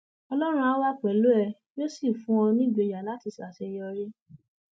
ọlọrun áà wà pẹlú ẹ yóò sì fún ọ nígboyà láti ṣàṣeyọrí